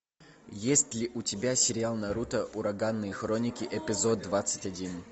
есть ли у тебя сериал наруто ураганные хроники эпизод двадцать один